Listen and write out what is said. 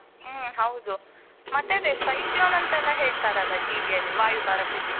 ಹ್ಮ್ ಹೌದು, ಮತ್ತೆ ಅದೇ cyclone ಅಂತ ಎಲ್ಲ ಹೇಳ್ತಾರಲ್ಲ TV ಅಲ್ಲಿ ವಾಯುಭಾರ ಕುಸಿತ.